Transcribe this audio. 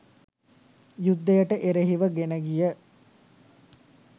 යුද්ධයට එරෙහිව ගෙනගිය